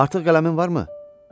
Artıq qələmin varmı?